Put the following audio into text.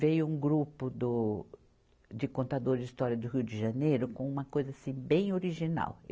Veio um grupo do, de contadores de história do Rio de Janeiro com uma coisa assim bem original.